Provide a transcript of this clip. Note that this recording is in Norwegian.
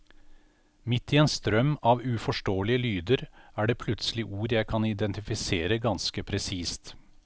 Midt i en strøm av uforståelige lyder, er det plutselig ord jeg kan identifisere ganske presist.